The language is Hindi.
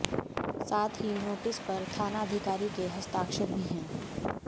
साथ ही नोटिस पर थाना अधिकारी के हस्ताक्षर भी हैं